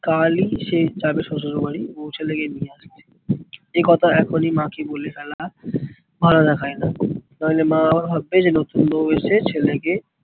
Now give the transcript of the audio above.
কালই সে যাবে শশুর বাড়ি বৌ ছেলেকে নিয়ে আসতে। এই কথা এখনই মাকে বলে ফেলা ভালো দেখায়না। নাহলে মা আবার ভাববে নতুন বৌ এসে ছেলেকে